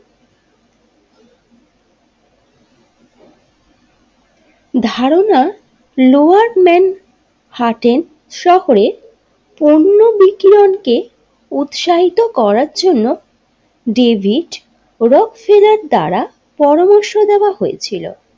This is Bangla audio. ধারণা লোয়ার মেন্ হার্টেন শহরে পণ্য বিকিরণ কে উৎসাহিত করার জন্য ডেভিড রোক্সসিরার দ্বারা পরামর্শ দেওয়া হয়েছিল।